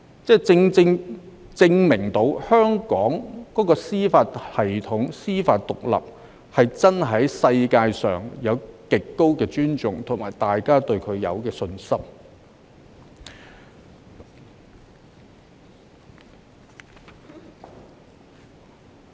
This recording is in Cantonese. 這恰恰證明香港的司法系統和司法獨立在全球備受尊重，大家對此有信心。